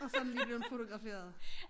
Og så den lige blevet fotograferet